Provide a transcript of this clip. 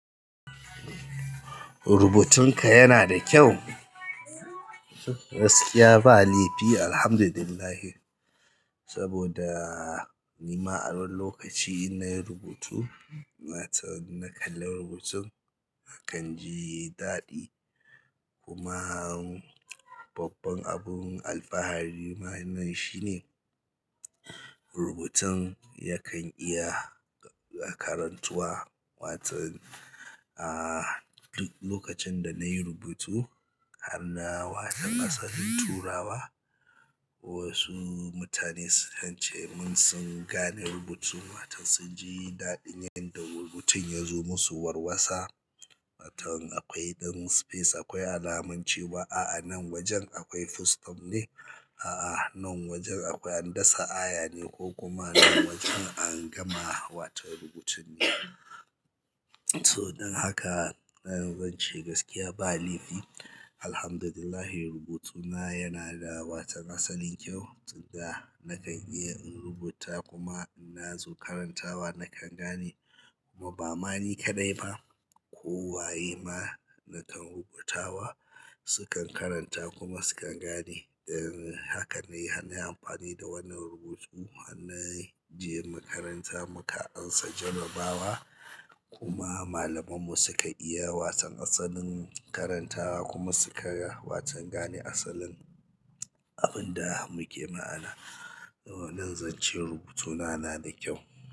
Rubutunka yana da kyau? Gaskiya ba laifi alhamdulillahi. Saboda nima a wani lokaci in nayi rubutu, waton na kalla rubutun na kan ji daɗi. Kuma, babban abin alfahari ma nan shine rubutun yakan iya karantuwa waton, a duk lokacin da nayi rubutu harna waton asalin turawa, wasu mutane sukan cemun sun gane rubutun. Waton sun ji daɗin yanda rubutun yazo musu warwasa. Waton akwai ɗan space, akwai alamun cewa a'a nan wajen akwai full stop ne, a'a nan wajen akwai an dasa aya ne ko kuma nan wajen an gama waton rubutun ne. To, don haka, na yanzu zance gaskiya ba laifi alhamdulillah rubutu na yana da waton asalin kyau. Tsiga na kan iya in rubuta kuma in na zo karantawa na kan gane. Kuma ba ma ni kaɗai ba, ko waye ma, nakan rubutawa sukan karanta kuma sukan gane don haka ne, har nayi amfani da wannan rubutu har na, je makaranta muka ansa jarrabawa kuma malaman mu suka iya waton asalin karantawa kuma suka waton gane asalin abinda muke ma'ana. Nan zance rubutuna nada kyau.